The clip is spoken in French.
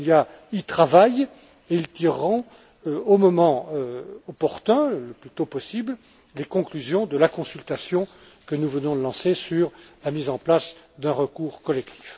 Almunia, y travaillent et ils tireront, au moment opportun, le plus tôt possible, les conclusions de la consultation que nous venons de lancer sur la mise en place d'un recours collectif.